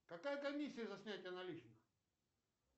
какая комиссия за снятие наличных